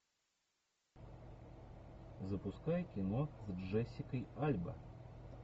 запускай кино с джессикой альба